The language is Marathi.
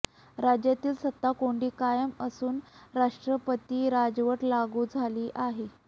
राज्यातील सत्ताकोंडी कायम असून राष्ट्रपती राजवट लागू झाली आहे